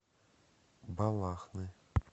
балахны